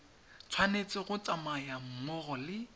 tshwanetse go tsamaya mmogo le